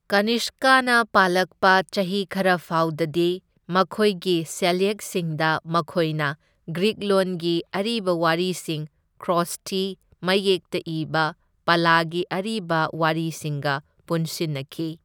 ꯀꯅꯤꯁꯀꯥꯅ ꯄꯥꯜꯂꯛꯄ ꯆꯍꯤ ꯈꯔ ꯐꯥꯎꯗꯗꯤ ꯃꯈꯣꯢꯒꯤ ꯁꯦꯜꯌꯦꯛꯁꯤꯡꯗ ꯃꯈꯣꯢꯅ ꯒ꯭ꯔꯤꯛ ꯂꯣꯟꯒꯤ ꯑꯔꯤꯕ ꯋꯥꯔꯤꯁꯤꯡ ꯈꯔꯣꯁꯊꯤ ꯃꯌꯦꯛꯇ ꯏꯕ ꯄꯥꯂꯥꯒꯤ ꯑꯔꯤꯕ ꯋꯥꯔꯤꯁꯤꯡꯒ ꯄꯨꯟꯁꯤꯟꯅꯈꯤ꯫